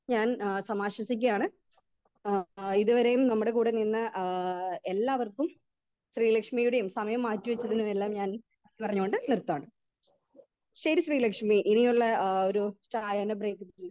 speaker 2 ഞാൻ എഹ് സമഷിപ്പിക്കയാണ് എഹ് ഇതുവരെയും നമ്മുടെ കൂടെ നിന്ന ഏഹ് എല്ലാവർക്കും ശ്രീലക്ഷ്മിയുടെം സമയം മാറ്റിവെച്ചതിനും എല്ലാം ഞാൻ പറഞ്ഞോണ്ട് നിർത്താണ് ശരി ശ്രീലക്ഷ്മി ഇനിയുള്ള ആ ഒരു ചായനെ